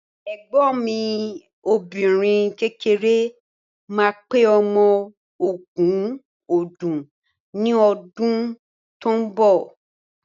Ẹ̀gbọ́n mi obìnrin kékeré ma pé ọmọ ogún odún ní ọdún tó ń bọ̀.